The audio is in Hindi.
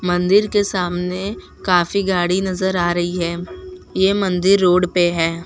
मंदिर के सामने काफी गाड़ी नजर आ रही है ये मंदिर रोड पे हैं।